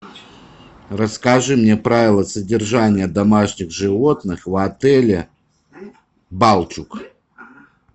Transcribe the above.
расскажи мне правила содержания домашних животных в отеле балчуг